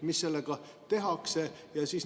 Mis sellega tehakse?